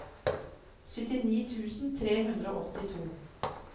syttini tusen tre hundre og åttito